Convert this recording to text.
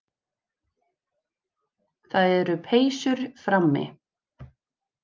Það eru peysur frammi.